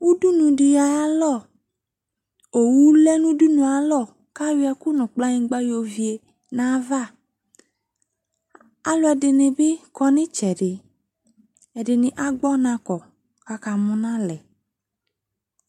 Udunu de alɔ Owu lɛ no udunua alɔ ka yɔ ɛku no kplanyigba yɔvie nava Aluɛde nw be kɔ no itsɛdeƐde ne agbɔnakɔ kaka mu nalɛ